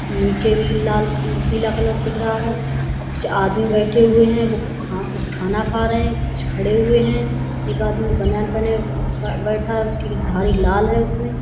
नीचे भी लाल पीला कलर दिख रहा है। अ कुछ आदमी बैठे हुए हैं वो खा खाना खा रहे हैं। कुछ खड़े हुए हैं। एक आदमी बनान पहने बैठा है उसकी धारी लाल है उसमें।